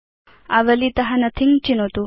आवलीत नोथिंग चिनोतु